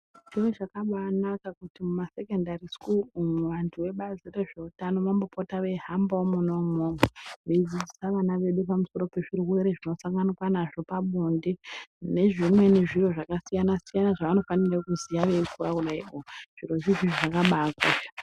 Zviro zvakabanaka kuti muma sekondari sikuru umwo antu ebazi rezveutano vambopata veihambawo mwona umwomwo veidzidzisa vana vedu pamusoro sezvirwere zvinosanganiwana nazvo pabonde nezvimweni zviro zvakasiyana- siyana zvavanofanirwa kuziva vachikira kudaio zviro izvozvo zvakabakosha.